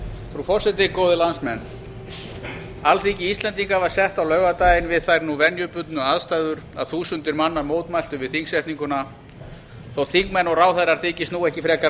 frú forseti góðir landsmenn alþingi íslendinga var sett á laugardaginn við þær venjubundnu aðstæður að þúsundir manna mótmæltu við þingsetninguna þó þingmenn og ráðherrar þykist nú ekki frekar